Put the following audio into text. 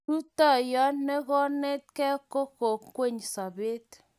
Rutoiyo ne kinetigei eng' kwekeny sobet